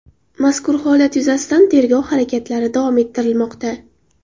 Mazkur holat yuzasidan tergov harakatlari davom ettirilmoqda.